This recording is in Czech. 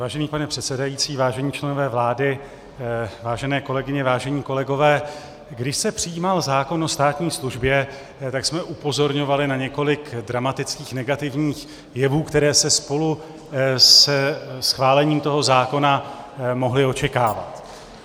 Vážený pane předsedající, vážení členové vlády, vážené kolegyně, vážení kolegové, když se přijímal zákon o státní službě, tak jsme upozorňovali na několik dramatických negativních jevů, které se spolu se schválením toho zákona mohly očekávat.